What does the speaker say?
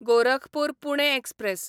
Gorakhpur Pune express